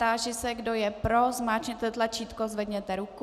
Táži se, kdo je pro, zmáčkněte tlačítko, zvedněte ruku.